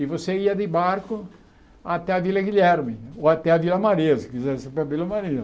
E você ia de barco até a Vila Guilherme, ou até a Vila Maria, se quisesse ir para a Vila Maria.